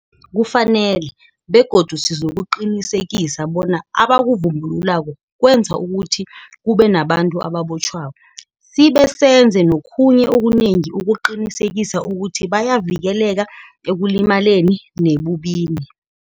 Kufanele, begodu sizokuqinisekisa bona abakuvumbululako kwenza ukuthi kube nabantu ababotjhwako, sibe senze nokhunye okunengi ukuqinisekisa ukuthi bayavikeleka ekulimaleni nebubini.